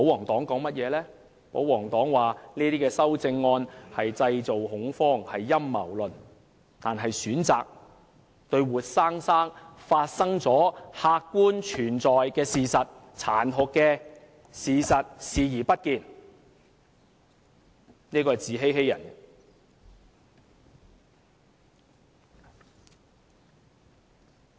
他們指這些修正案製造恐慌，是陰謀論；他們選擇對活生生已發生及客觀存在的殘酷事實視而不見，自欺欺人。